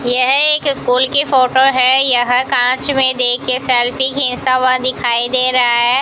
यह एक स्कूल की फोटो है यह कांच में देखके सेल्फी खींचता हुआ दिखाई दे रहा है।